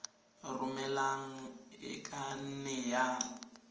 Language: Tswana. romelang e ka nne ya